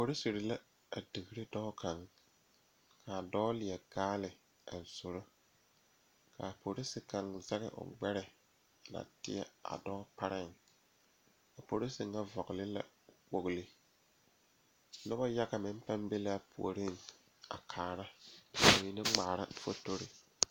Polisere la a digre dɔɔ kaŋ kaa dɔɔ leɛ kaala a zoro kaa porise kaŋa zɛge o gbɛre a na teɛ a dɔɔ pareŋ a porise ŋa vɔgle la kpogle nobɔ yaga meŋ paŋ be laa puoriŋ a kaara ka mine ngmaara fotorre.